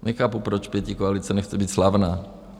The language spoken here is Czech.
Nechápu, proč pětikoalice nechce být slavná.